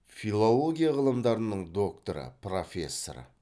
филология ғылымдарының докторы профессор